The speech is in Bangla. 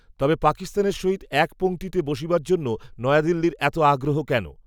তবে পাকিস্তানের সহিত এক পঙক্তিতে বসিবার জন্য নয়াদিল্লির এত আগ্রহ কেন